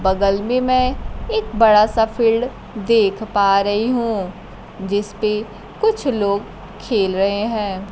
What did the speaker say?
बगल में मैं एक बड़ा सा फील्ड देख पा रही हूं जिस पे कुछ लोग खेल रहे हैं।